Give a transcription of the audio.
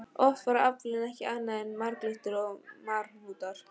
Oft var aflinn ekki annað en marglyttur og marhnútar.